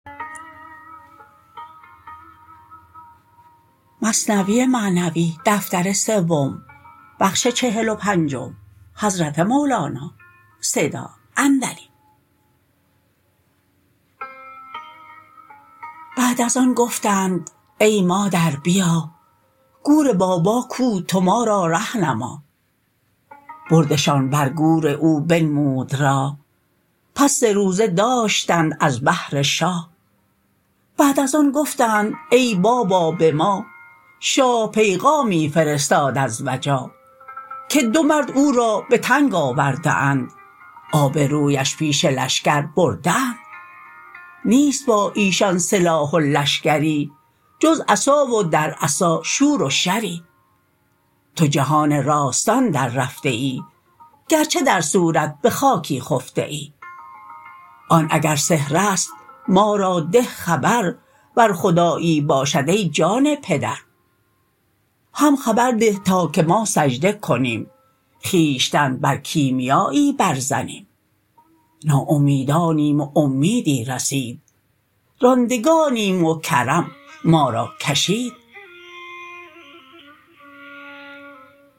بعد از آن گفتند ای مادر بیا گور بابا کو تو ما را ره نما بردشان بر گور او بنمود راه پس سه روزه داشتند از بهر شاه بعد از آن گفتند ای بابا به ما شاه پیغامی فرستاد از وجا که دو مرد او را به تنگ آورده اند آب رویش پیش لشکر برده اند نیست با ایشان سلاح و لشکری جز عصا و در عصا شور و شری تو جهان راستان در رفته ای گرچه در صورت به خاکی خفته ای آن اگر سحرست ما را ده خبر ور خدایی باشد ای جان پدر هم خبر ده تا که ما سجده کنیم خویشتن بر کیمیایی بر زنیم ناامیدانیم و اومیدی رسید راندگانیم و کرم ما را کشید